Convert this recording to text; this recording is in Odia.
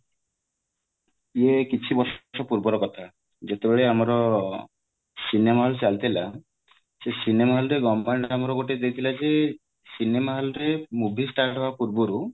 ଇଏ କିଛି ବର୍ଷ ପୂର୍ବର କଥା ଯେତେବେଳେ ଆମର cinema hall ଚାଲିଥିଲା ସେଇ cinema hall ରେ ଗୋଟେ ଦେଇଥିଲା କି cinema hall ରେ movie start ହବା ପୂର୍ବରୁ